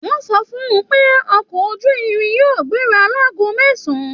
Wọn sọ fún pé ọkọ ojúrin yóò gbéra láàgò mẹsan.